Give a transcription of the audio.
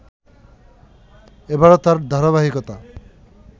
এবারো তার ধারাবাহিকতা